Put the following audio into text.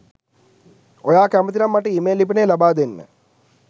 ඔයා කැමති නම් මට ඊමේල් ලිපිනය ලබාදෙන්න